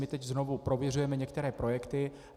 My teď znovu prověřujeme některé projekty.